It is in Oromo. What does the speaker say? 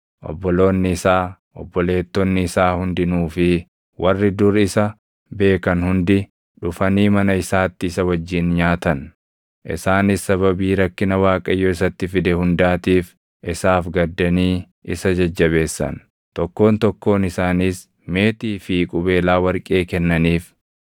Obboloonni isaa, obboleettonni isaa hundinuu fi warri dur isa beekan hundi dhufanii mana isaatti isa wajjin nyaatan. Isaanis sababii rakkina Waaqayyo isatti fide hundaatiif isaaf gaddanii isa jajjabeessan; tokkoon tokkoon isaaniis meetii fi qubeelaa warqee kennaniif.